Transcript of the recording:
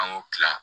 An y'o kila